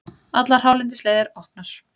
Allar hálendisleiðir opnar